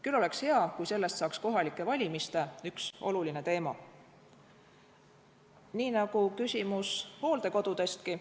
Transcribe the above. Küll oleks hea, kui sellest saaks kohalike valimiste üks olulisi teemasid, nii nagu küsimus hooldekodudestki.